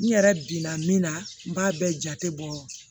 N yɛrɛ binna min na n b'a bɛɛ jate bɔ